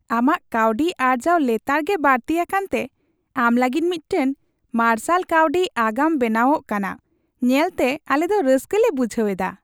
ᱟᱢᱟᱜ ᱠᱟᱹᱣᱰᱤ ᱟᱨᱡᱟᱣ ᱞᱮᱛᱟᱲ ᱜᱮ ᱵᱟᱹᱲᱛᱤ ᱟᱠᱟᱱᱛᱮ, ᱟᱢ ᱞᱟᱹᱜᱤᱫ ᱢᱤᱫᱴᱟᱝ ᱢᱟᱨᱥᱟᱞ ᱠᱟᱹᱣᱰᱤ ᱟᱜᱟᱢ ᱵᱮᱱᱟᱣᱚᱜ ᱠᱟᱱᱟ ᱧᱮᱞᱛᱮ ᱟᱞᱮ ᱫᱚ ᱨᱟᱹᱥᱠᱟᱹ ᱞᱮ ᱵᱩᱡᱷᱟᱹᱣ ᱮᱫᱟ ᱾